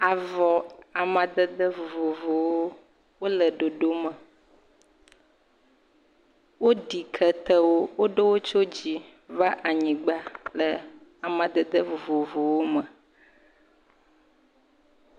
Avɔ amadede vovovowo, wole ɖoɖo me. Woɖi ketewo, woɖo wo tso dzi va anyigba le amadede vovovowo me.